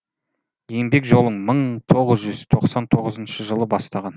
еңбек жолын мың тоғыз жүз тоқсан тоғызыншы жылы бастаған